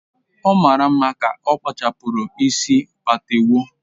Ọ mara mma ka okpachara isi patewo